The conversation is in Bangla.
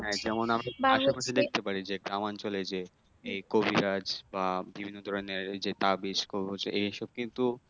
যেমন আমাদের দেখতে পারি যে গ্রাম আঞ্চলে যে এই কবিরাজ বা বিভিন্ন ধরনের এই যে তাবিজ কবজ এইসব কিন্তু